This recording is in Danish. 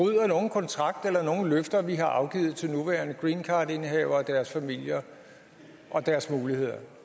kontrakt eller nogen løfter vi har afgivet til nuværende greencardindehavere og deres familier og deres muligheder